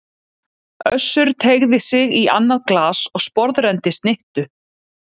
Össur teygði sig í annað glas og sporðrenndi snittu.